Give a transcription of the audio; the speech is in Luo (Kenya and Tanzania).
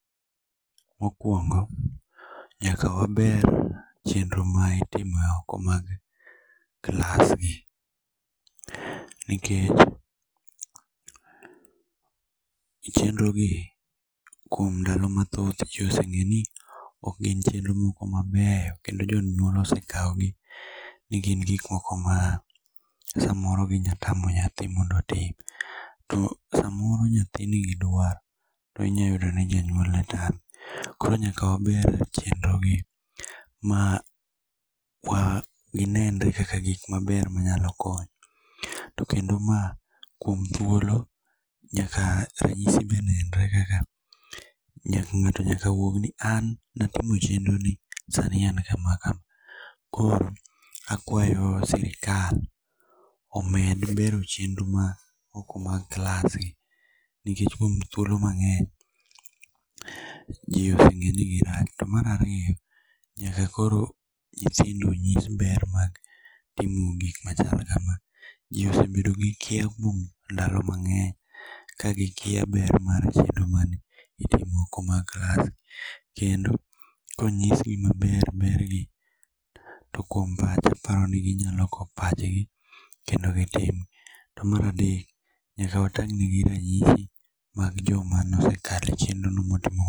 Mokuongo nyaka waber chenro ma itimo e oko mar klasgi, nikech chenrogi kuom ndalo mathoth ji oseng'eyo ni ok gin chenro mabeyo kendo jonyuol osekawo gi nigin gik moko ma samoro ginyalo tamo nyathi mondo otim to samoro nyathi nigi duaro to inyalo yudo ni janyuol otame. Koro nyaka wabed gi dwaro mondo ginenre kaka gik mabeyo manyalo konyo, to kendo mae kuom thuolo nyaka ranyisi be nenre kaka ng'ato nyaka wuogi ni an ne atimo chenro ni to sani an kama kama. Koro akwayo sirikal omiyo gibero chenro mag oko mag klasgi nikech kuom thuolo mang'eny ji ose ng'eyo ni girach. To mar ariyo, nyaka koro nyithindo nyis ber mar timo gik machalo kama. Ji osebet gi kia but ndalo mang'eny ka gikia ber mar chiedo ma itimo moko mag klas kendo konyisgi maber bergi, to kuom pacha aparo ni ginyalo loko pachgi., kendo gitim. To mar adek, nyaka watang'negi ranyisi mag jogo mane osekalo e chenro no motimo